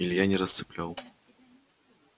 илья не расцеплял